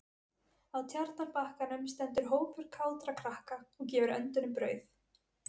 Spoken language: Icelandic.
Á Tjarnarbakkanum stendur hópur kátra krakka og gefur öndunum brauð.